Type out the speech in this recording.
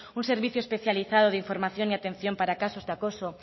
un servicio especializado de información y atención para casos de acoso